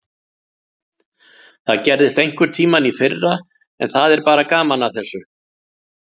Það gerðist einhverntímann í fyrra en það er bara gaman að þessu.